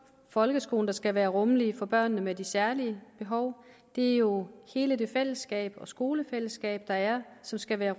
folkeskolen der skal være rummelig for børnene med de særlige behov det er jo hele det fællesskab og skolefællesskab der er som skal være